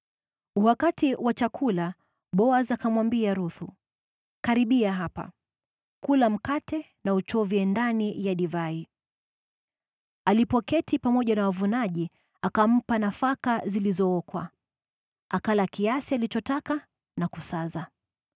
Wakati wa chakula, Boazi akamwambia Ruthu, “Karibia hapa. Kula mkate na uchovye ndani ya siki.” Alipoketi pamoja na wavunaji, akampa nafaka zilizookwa. Akala kiasi alichotaka na kusaza.